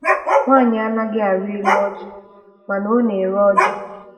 Nwaanyi anaghị arị elu ọjị mana Ọ na-ere ọjị.